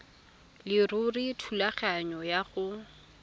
leruri thulaganyo ya go